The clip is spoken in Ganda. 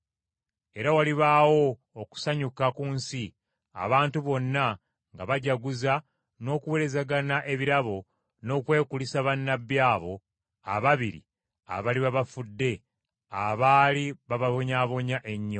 Era walibaawo okusanyuka ku nsi, abantu bonna nga bajaguza n’okuweerezagana ebirabo, n’okwekulisa bannabbi abo ababiri abaliba bafudde abaali bababonyaabonya ennyo.